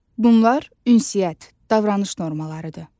Bunlar ünsiyyət davranış normalarıdır.